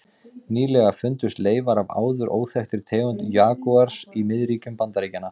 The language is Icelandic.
Nýlega fundust leifar af áður óþekktri tegund jagúars í miðríkjum Bandaríkjanna.